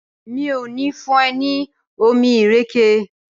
ràrá mi'o ni fún e ní omí ìrèké?